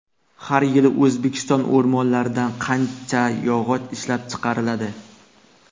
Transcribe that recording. Har yili O‘zbekiston o‘rmonlaridan qancha yog‘och ishlab chiqariladi?